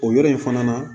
O yɔrɔ in fana na